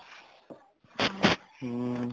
ਹਮ